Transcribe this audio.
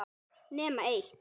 Nema eitt.